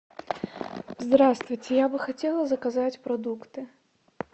здравствуйте я бы хотела заказать продукты